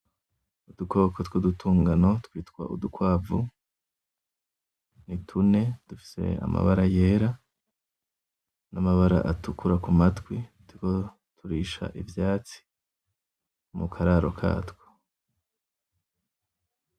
Udukoko tw’udutungano twitwa Udukwavu nitune dufise amabara yera ,n’amabara atukura kumatwi turisha ivyatsi mu kararo katwo.